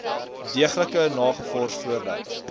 deeglik nagevors voordat